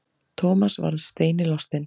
Thomas varð steini lostinn.